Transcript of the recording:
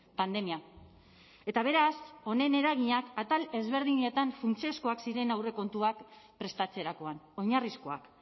pandemia eta beraz honen eraginak atal ezberdinetan funtsezkoak ziren aurrekontuak prestatzerakoan oinarrizkoak